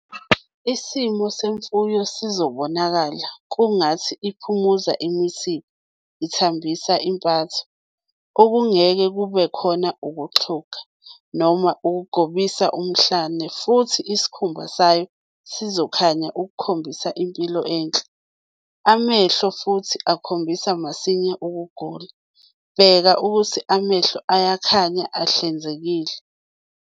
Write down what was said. Isimo semfuyo sizobonakala kungathi iphumuza imisipha, ithambisa impatho, - akungeke kubekhona ukuxhuga, noma ukukhobisa umhlane futhi isikhumba sayo sizokhanya ukukhombisa impilo enhle. Amehlo futhi akhombisa masinya ukugula, bheka ukuthi amehlo ayakhanya ahlanzekile.